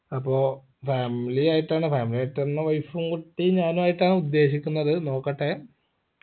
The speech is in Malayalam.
അപ്പൊ family ആയിട്ടാണ് family ആയിട്ടെന്നെ wife ഉം കുട്ടി ഞാനുമായിട്ടാണ് ഉദ്ദേശിക്കുന്നത് നോക്കട്ടെ